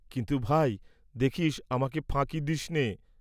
কিন্তু ভাই, দেখিস আমাকে ফাঁকি দিস্‌নে?